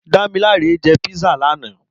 Damilola jè pizza làná